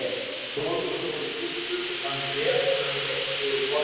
Konungur fór í skúffu og fann bréf sem hann rétti yfir borðið.